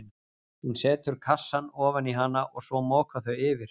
Hún setur kassann ofan í hana og svo moka þau yfir.